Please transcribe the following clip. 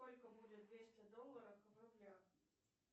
сколько будет двести долларов в рублях